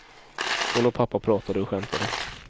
Hon och pappa pratade och skämtade.